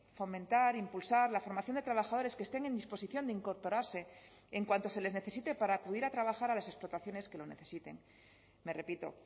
fomentar impulsar la formación de trabajadores que estén en disposición de incorporarse en cuanto se les necesite para acudir a trabajar a las explotaciones que lo necesiten me repito